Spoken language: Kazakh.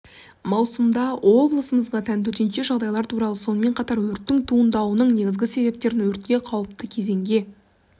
маусымда облысымызға тән төтенше жағдайлар туралы сонымен қатар өрттің туындауының негізгі себептерін өртке қаууіпті кезеңге